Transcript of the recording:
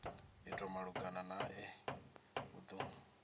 itwa malugana nae u do